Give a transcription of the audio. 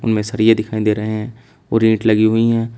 उनमें सरिया दिखाई दे रहे हैं और इट लगी हुई हैं।